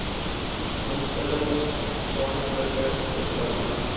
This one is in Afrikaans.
instellings gesamentlike beplanning